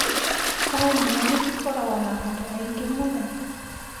Taũni nene cikoragwo na andũ aingĩ mũno